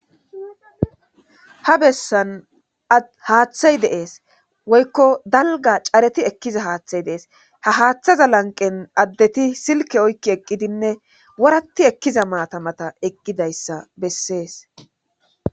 ha bessan haaththay dee'es woykko dalga careti ekkiza haaththay Dee's ha haaththaza lanqen addeti silke oykki eqqidinne woratti ekkiza maatamata eqqidayssa bessees